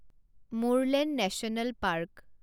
Murlen national park